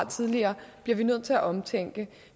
tidligere bliver vi nødt til at omtænke